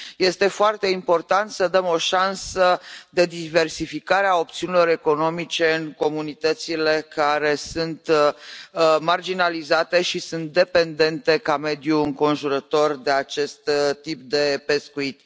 Este foarte important să dăm o șansă de diversificare a opțiunilor economice în comunitățile care sunt marginalizate și sunt dependente ca mediu înconjurător de acest tip de pescuit.